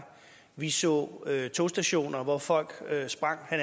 vi så togstationer hvor folk sprang jeg